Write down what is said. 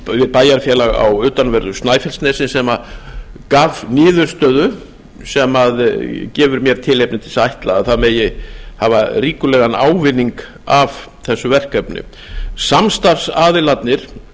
bæjarfélag á utanverðu snæfellsnesi sem gaf niðurstöðu sem gefur mér tilefni til að ætla að það megi hafa ríkulegan ávinning af þessu verkefni samstarfsaðilarnir